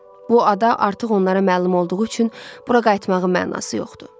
Bu ada artıq onlara məlum olduğu üçün bura qayıtmağın mənası yoxdur.